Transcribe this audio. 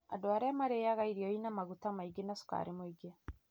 Andũ arĩa marĩĩaga irio irĩ na maguta maingĩ na cukari mũingĩ